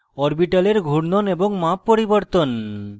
orbitals ঘূর্ণন এবং মাপ পরিবর্তন